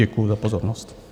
Děkuju za pozornost.